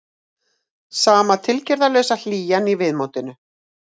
Sama tilgerðarlausa hlýjan í viðmótinu.